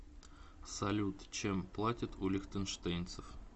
салют чем платят у лихтенштейнцев